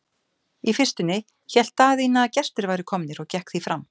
Í fyrstunni hélt Daðína að gestir væru komnir og gekk því fram.